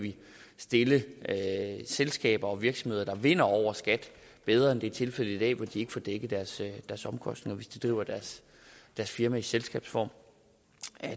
stille selskaber og virksomheder der vinder over skat bedre end det er tilfældet i dag hvor de ikke får dækket deres omkostninger hvis de driver deres firma i selskabsform